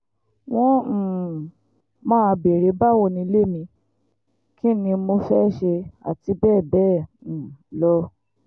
wọ́n um máa béèrè báwo nílé mi kín ni mo fẹ́ẹ́ ṣe àti bẹ́ẹ̀ bẹ́ẹ̀ um lọ